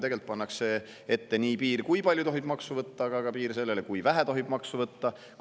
Tegelikult pannakse piir nii sellele, kui palju tohib maksu võtta, kui ka sellele, kui vähe tohib maksu võtta.